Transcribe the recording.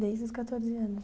Desde os catorze anos.